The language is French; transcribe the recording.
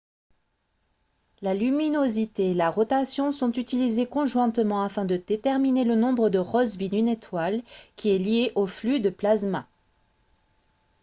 la luminosité et la rotation sont utilisées conjointement afin de déterminer le nombre de rossby d'une étoile qui est lié au flux de plasma